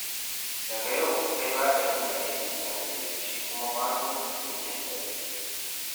Daga yau kai za ka dinga aikin safe, shi kuma Mato, aikin dare